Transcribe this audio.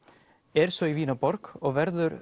er svo í Vínarborg og verður